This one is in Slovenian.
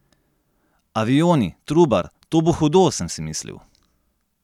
Avioni, Trubar, to bo hudo, sem si mislil!